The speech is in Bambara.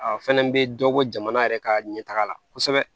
A fɛnɛ bɛ dɔ bɔ jamana yɛrɛ ka ɲɛtaga la kosɛbɛ